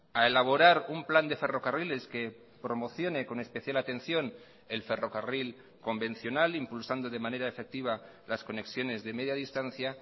a elaborar un plan de ferrocarriles que promocione con especial atención el ferrocarril convencional impulsando de manera efectiva las conexiones de media distancia